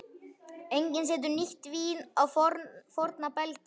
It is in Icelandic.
Enginn setur nýtt vín á forna belgi.